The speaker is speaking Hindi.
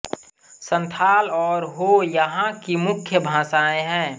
संथाल और हो यहाँ की मुख्य भाषाएँ हैं